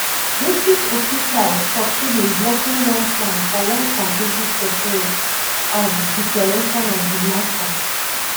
british officials succeed in blocking one plan for one completely separate um declaration on di mata